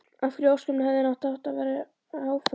Af hverju í ósköpunum hefði hann átt að vera áfram?